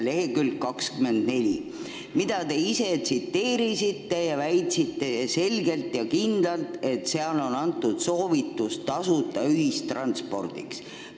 Selle lehekülge 24 te tsiteerisite ning väitsite selgelt ja kindlalt, et seal on antud soovitus tasuta ühistranspordi korraldamiseks.